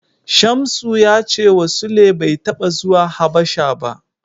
Shamsu ya cewa Sule bai taɓa zuwa Habasha ba.